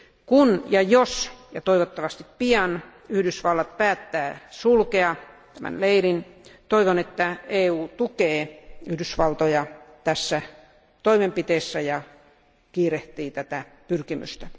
Kun ja jos, ja toivottavasti pian, Yhdysvallat päättää sulkea tämän leirin, toivon, että EU tukee Yhdysvaltoja tässä toimenpiteessä ja kiirehtii tätä pyrkimystä.